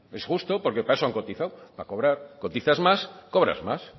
es justo porque para eso han cotizado para cobrar cotizas más cobras más